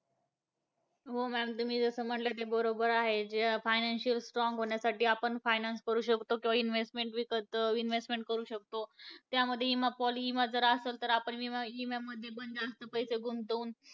तर माई बहिणीचा संसार स सुखाचा होणार . राजेश सिंदूर सभ्य बोलताना हे वाद पिवळा दपक प्रतिक क्षात हे खूपच सांगारक कारण उत्तरा काँग्रेस च्या वेळी